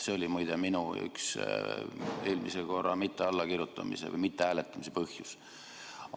See oli muide ka minu puhul üks eelmisel korral mittehääletamise põhjus.